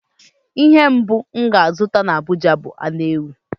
Ihe mbụ m ga-azụta n'Abụja bụ anu ewu.